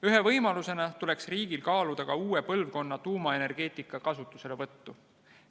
Ühe võimalusena tuleks riigil kaaluda ka uue põlvkonna tuumaenergeetika kasutuselevõttu.